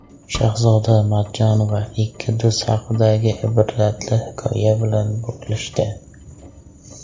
Shahzoda Matchonova ikki do‘st haqidagi ibratli hikoya bilan bo‘lishdi.